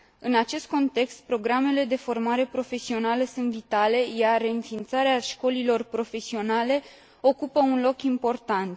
În acest context, programele de formare profesională sunt vitale, iar reînființarea școlilor profesionale ocupă un loc important.